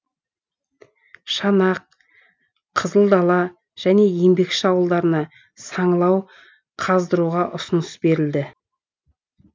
шанақ қызылдала және еңбекші ауылдарына саңылау қаздыруға ұсыныс берілді